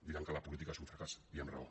diran que la política és un fracàs i amb raó